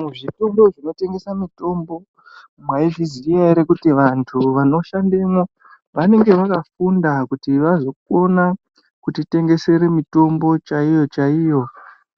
Muzvitoro zvinotengese mitombo , maizviziya here kuti antu anoshandemo anonge akafunda kuti vazokona kutitengesere mitombo chaiyo chaiyo